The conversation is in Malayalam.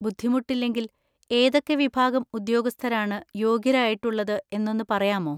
ബുദ്ധിമുട്ടില്ലെങ്കിൽ ഏതൊക്കെ വിഭാഗം ഉദ്യോഗസ്ഥരാണ് യോഗ്യരായിട്ടുള്ളത് എന്നൊന്ന് പറയാമോ?